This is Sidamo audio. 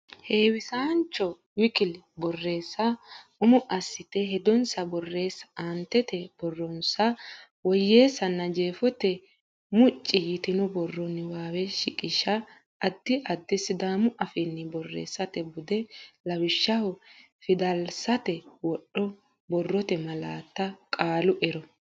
heewisaanacho w k l borreessa Umo assite hedonsa borreessa aantete borronsa woyyeessanna jeefote mucci yitino borro niwaawe shiqisha Addi addiha Sidaamu Afiiha borreessate bude lawishshaho fidalsate wodho borrote malaatta qaalu ero.